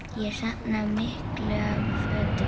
Ég safna miklu af fötum.